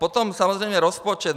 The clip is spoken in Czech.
Potom samozřejmě rozpočet.